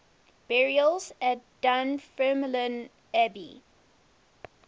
burials at dunfermline abbey